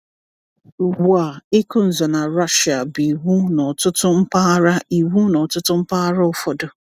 Ugbu a, ịkụ nzọ na Russia bụ iwu n’ọtụtụ mpaghara iwu n’ọtụtụ mpaghara ụfọdụ.